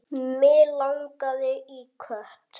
Mig langaði í kött.